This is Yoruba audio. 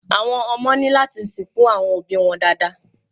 Àwọn ọmọ ní láti sìnkú àwọn òbíi wọn dáadáa.